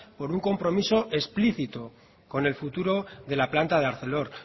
con un compromiso explícito con el futuro de la planta de arcelor